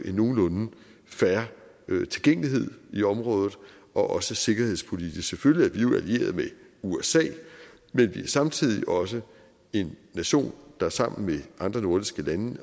en nogenlunde fair tilgængelighed i området også sikkerhedspolitisk selvfølgelig er vi allieret med usa men vi er samtidig også en nation der sammen med andre nordiske lande